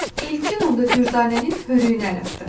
Elkin onda Dürdanənin hörüyünə əl atdı.